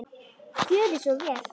Gjörið svo vel!